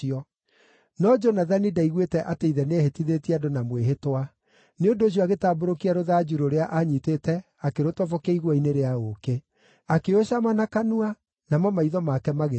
No Jonathani ndaiguĩte atĩ ithe nĩehĩtithĩtie andũ na mwĩhĩtwa; nĩ ũndũ ũcio agĩtambũrũkia rũthanju rũrĩa aanyiitĩte akĩrũtobokia igua-inĩ rĩa ũũkĩ. Akĩũcama na kanua, namo maitho make magĩthera.